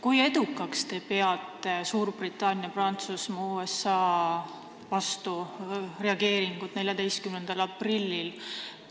Kui edukaks te peate Suurbritannia, Prantsusmaa ja USA vastureageeringut 14. aprillil?